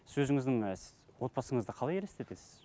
сіз өзіңіздің отбасыңызды қалай елестетесіз